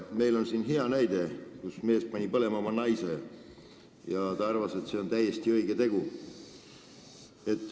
Meil on siin hea näide: mees pani oma naise põlema ja arvas, et see on täiesti õige tegu.